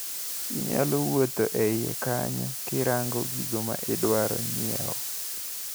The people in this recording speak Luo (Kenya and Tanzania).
Inyalo wuotho e iye kanyo kirango gigo maidwaro nyiewo.